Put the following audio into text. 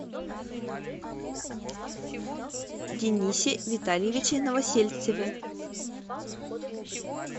денисе витальевиче новосельцеве